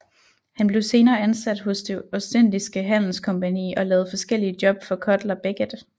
Han blev senere ansat hos Det Ostindiske Handelskompagni og lavede forskellige job for Cutler Beckett